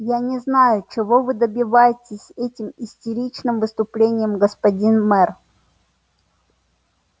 я не знаю чего вы добиваетесь этим истеричным выступлением господин мэр